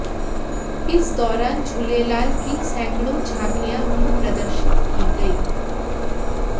इस दौरान झूलेलाल की सैकड़ों झांकियां भी प्रदर्शित की गईं